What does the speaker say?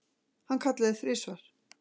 Hann kallaði þrisvar.